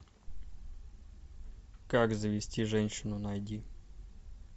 как завести женщину найди